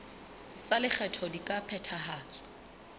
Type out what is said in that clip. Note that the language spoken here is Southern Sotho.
tsa lekgetho di ka phethahatswa